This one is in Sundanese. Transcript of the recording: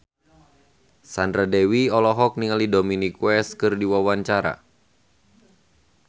Sandra Dewi olohok ningali Dominic West keur diwawancara